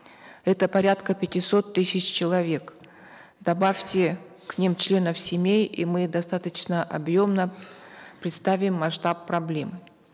это порядка пятисот тысяч человек добавьте к ним членов семей и мы достаточно объемно представим масштаб проблемы